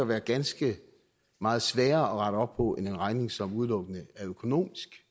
være ganske meget sværere at rette op på end en regning som udelukkende er økonomisk